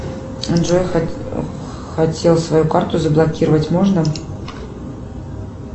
джой хотел свою карту заблокировать можно